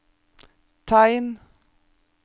tegn